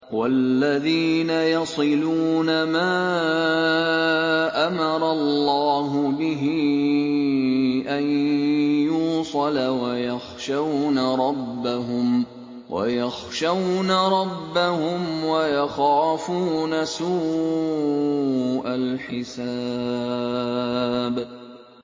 وَالَّذِينَ يَصِلُونَ مَا أَمَرَ اللَّهُ بِهِ أَن يُوصَلَ وَيَخْشَوْنَ رَبَّهُمْ وَيَخَافُونَ سُوءَ الْحِسَابِ